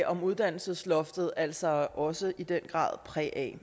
om uddannelsesloftet altså også i den grad præg af